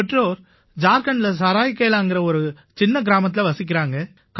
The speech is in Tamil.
என் பெற்றோர் ஜார்க்கண்டில சராய்கேலாங்கற ஒரு சின்ன கிராமத்தில வசிக்கறாங்க